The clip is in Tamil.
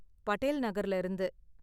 படேல் நகர்ல இருந்து.